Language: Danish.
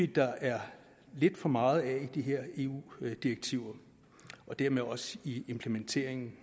der er lidt for meget af i de her eu direktiver og dermed også i implementeringen